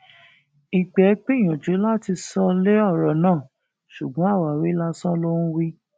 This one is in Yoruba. ìgbẹ gbìyànjú láti sọ lé ọrọ náà ṣùgbọn àwáwí lásán ló ń wí